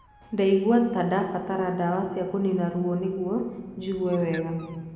Ndaiguaga ta ndabataraga ndawa cia kũnina ruo nĩguo njigue wega.